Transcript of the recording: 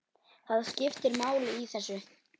Það skiptir máli í þessu.